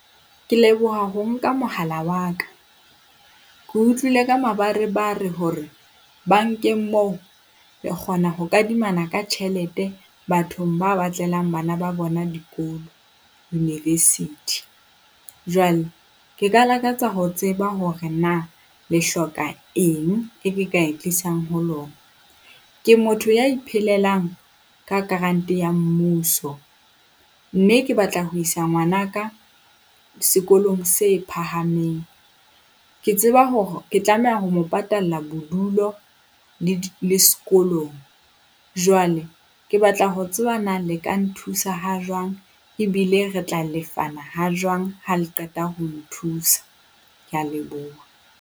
Ke leboha ho nka mohala wa ka. Ke utlwile ka mabarebare hore bankeng moo re kgona ho kadimana ka tjhelete bathong ba batlelang bana ba bona dikolo university. Jwale ke ka lakatsa ho tseba hore na le hloka eng e ka e tlisang ho lona. Ke motho ya iphelelang ka grant ya mmuso, mme ke batla ho isa ngwanaka sekolong se phahameng. Ke tseba hore ke tlameha ho mo patalla bodulo le le sekolong. Jwale ke batla ho tseba na le ka nthusa ha jwang, ebile re tla lefana ha jwang ha le qeta ho nthusa. Ke a leboha.